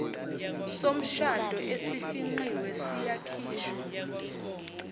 somshado esifingqiwe siyakhishwa